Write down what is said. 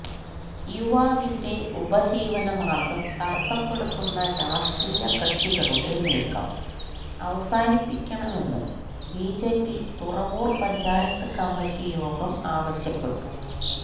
് യുവാവിന്റെ ഉപജീവനമാര്ഗം തടസപ്പെടുത്തുന്ന രാഷ്ട്രീയ കക്ഷികളുടെ നീക്കം അവസാനിപ്പിക്കണമെന്ന് ബിജെപി തുറവൂര് പഞ്ചായത്ത് കമ്മിറ്റി യോഗം ആവശ്യപ്പെട്ടു